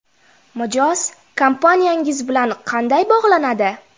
Mijoz kompaniyangiz bilan qanday bog‘lanadi?